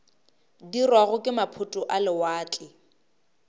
dirwago ke maphoto a lewatle